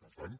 per tant